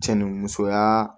Cɛ ni musoya